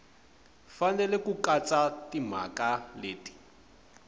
fanele ku katsa timhaka leti